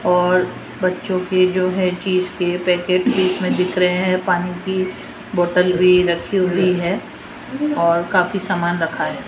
और बच्चों की जो है चीज के पैकेट बीच में दिख रहे हैं पानी की बॉटल भी रखी हुई है और काफी सामान रखा है।